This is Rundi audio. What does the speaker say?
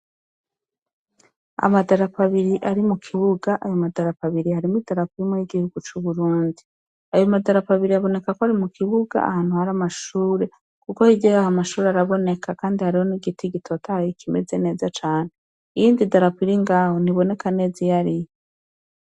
Amadarapo abiri ari mukibuga. Ayo madarapo abiri harimwo imwe yigihugu c'Uburundi. Ayo madarapo abiri aboneka ko ari mukibuga ahantu hari amashure kuko hirya y'amashure araboneka kandi hariho n'igiti gitotahaye kimeze neza cane . Iyindi darapo iringaho ntiboneka neza iyariyo